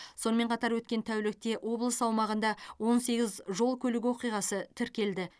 сонымен қатар өткен тәулікте облыс аумағында он сегіз жол көлік оқиғасы тіркелді